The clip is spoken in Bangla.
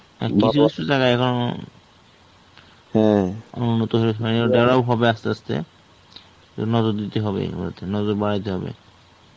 হ্যাঁ কিছু কিছু জায়গায় এখনো উন্নত হয়ে ওঠেনি. হবে আসতে আসতে নজর দিতে হবে এগুলো তে নজর বারাইতে হবে.